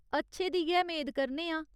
अच्छे दी गै मेद करने आं।